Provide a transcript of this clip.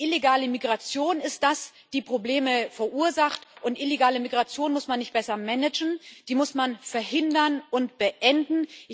Die illegale Migration ist es, die Probleme verursacht, und illegale Migration muss man nicht besser managen, die muss man verhindern und beenden.